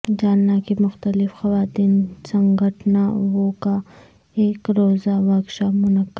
جالنہ کی مختلف خواتین سنگھٹنا وں کا ایک روزہ ورکشاپ منعقد